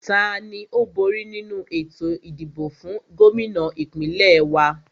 Tani ó bóri nínu ètò ìdìbò fún Gómìnà ìpínlẹ̀ wa?